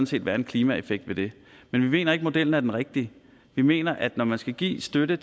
set være en klimaeffekt ved det men vi mener ikke at modellen er den rigtige vi mener at når man skal give støtte